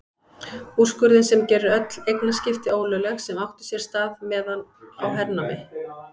Úrskurðinn sem gerir öll eignaskipti ólögleg sem áttu sér stað meðan á hernámi